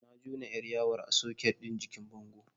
Na jona 'yar yawon a soket ɗin jikin bango.